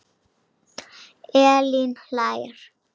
Elín hlær.